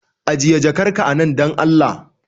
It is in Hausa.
Ajiye jakar ka a nan dan Allah